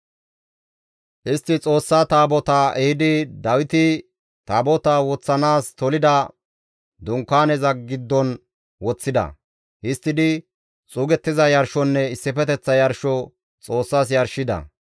Istti Xoossa Taabotaa ehidi Dawiti Taabotaa woththanaas tolida dunkaaneza giddon woththida; histtidi xuugettiza yarshonne issifeteththa yarsho Xoossas yarshida.